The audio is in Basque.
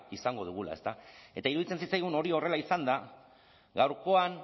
izango dugula ezta eta iruditzen zitzaigun hori horrela izanda gaurkoan